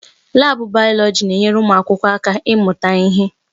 Laabụ bayọlọji na-enyere ụmụ akwụkwọ aka ịmụta ihe.